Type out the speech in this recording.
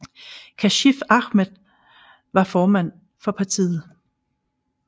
Kashif Ahmad var formand for partiet